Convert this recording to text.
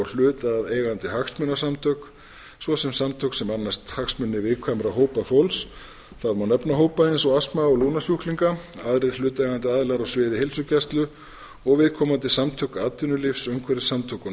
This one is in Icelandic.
hlutaðeigandi hagsmunasamtök svo sem samtök sem annast hagsmuni viðkvæmra hópa fólks það má nefna hópa eins og astma og lungnasjúklinga aðrir hlutaðeigandi aðilar á sviði heilsugæslu og viðkomandi samtök atvinnulífs umhverfissamtök og